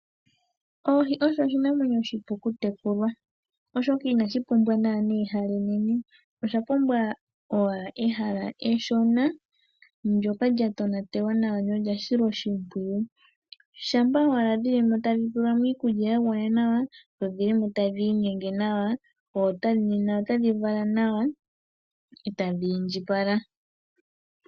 Oohi osho oshinamwenyo oshipu kutekulwa, oshoka inashi pumbwa naana ehala enene. Osha pumbwa owala ehala eshona ndjoka lya tonatelwa nawa nolyasilwa oshimpwiyu, shampa owala dhilimo tadhi pelwamo iikulya yagwana nawa dho dhilimo tadhi nyenge nawa, nena otadhi vala nawa eta dhindjipala.